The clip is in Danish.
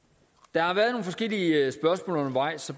der har været nogle forskellige spørgsmål undervejs og